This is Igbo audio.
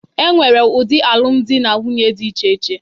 E nwere ụdị alụmdi na nwunye dị iche iche.